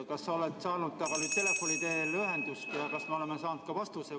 Kas sa oled saanud temaga telefoni teel ühenduse ja kas me oleme saanud ka vastuse?